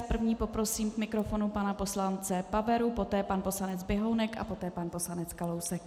S první poprosím k mikrofonu pana poslance Paveru, poté pan poslanec Běhounek a poté pan poslanec Kalousek.